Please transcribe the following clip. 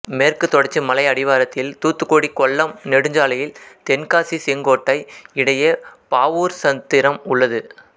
மேற்கு தொடர்ச்சி மலை அடிவாரத்தில் தூத்துக்குடி கொல்லம் நெடுஞ்சாலையில் தென்காசி செங்கோட்டை இடையே பாவூர்சத்திரம் உள்ளது